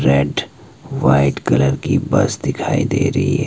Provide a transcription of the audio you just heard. red white colour की bus दिखाई दे रही--